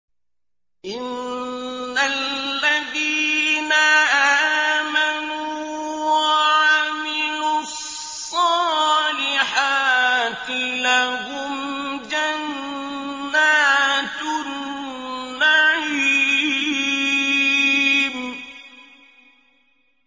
إِنَّ الَّذِينَ آمَنُوا وَعَمِلُوا الصَّالِحَاتِ لَهُمْ جَنَّاتُ النَّعِيمِ